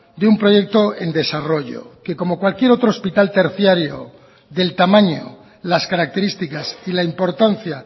de un proyecto en desarrollo que como cualquier otro hospital terciario del tamaño las características y la importancia